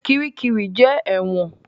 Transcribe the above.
Kiríkirì jẹ́ ẹ̀wọ̀n.